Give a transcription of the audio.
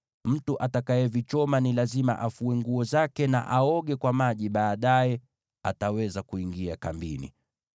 Mtu atakayevichoma ni lazima afue nguo zake na aoge kwa maji; baadaye ataweza kuingia kambini.